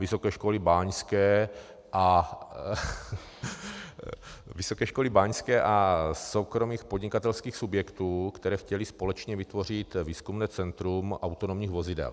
Vysoké školy báňské a soukromých podnikatelských subjektů, které chtěly společně vytvořit výzkumné centrum autonomních vozidel.